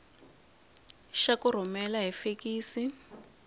xa ku rhumela hi fekisi